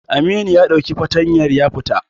Amini ya ɗauki fartanyar ya fita.